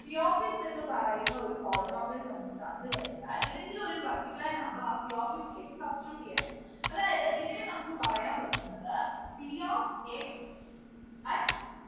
p of x എന്ന് പറയുന്ന ഒരു polynomial നമുക്ക് തന്നു കഴിഞ്ഞാൽ ഏതെങ്കിലും ഒരു particular number ആ p of x ലേക്ക് substitute ചെയ്യാൻ അതായത് ഇതിനെ നമുക്ക് പറയാൻ പറ്റുന്നത് p of x at